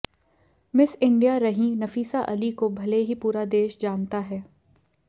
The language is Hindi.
मिस इंडिया रहीं नफीसा अली को भले ही पूरा देश जानता है